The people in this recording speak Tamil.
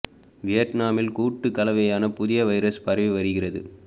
வியட்னாமில் கூட்டு கலவையான புதிய வைரஸ் பரவி வருகிறது